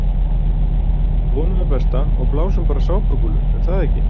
Við vonum það besta og blásum bara sápukúlur er það ekki?